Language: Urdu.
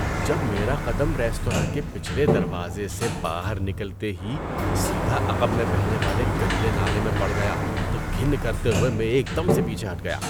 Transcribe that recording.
جب میرا قدم ریستوراں کے پچھلے دروازے سے باہر نکلتے ہی سیدھا عقب میں بہنے والے گندے نالے میں پڑ گیا تو گھن کرتے ہوئے میں ایک دم سے پیچھے ہٹ گیا۔